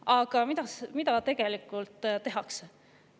Aga mida tegelikult tehakse?